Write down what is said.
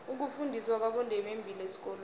ukufundiswa kwabondebembili esikolweni